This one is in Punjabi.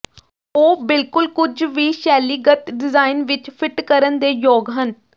ਉਹ ਬਿਲਕੁਲ ਕੁਝ ਵੀ ਸ਼ੈਲੀਗਤ ਡਿਜ਼ਾਇਨ ਵਿੱਚ ਫਿੱਟ ਕਰਨ ਦੇ ਯੋਗ ਹਨ